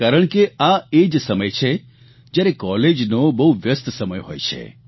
કારણ કે આ એ જ સમય છે જયારે કોલેજનો બહુ વ્યસ્ત સમય હોય છે